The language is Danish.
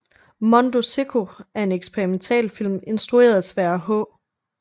Mondo sicko er en eksperimentalfilm instrueret af Sverre H